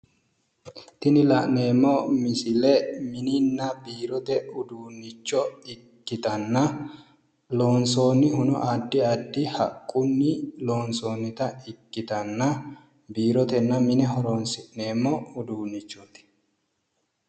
Tini la'neemmo misile mininna biirote uduunnicho ikkitanna, loonsoonnihuno addi addi haqqunni loonsoonnita ikkitanna biirotenna mine horoonsi'neemmo uduunnichooti.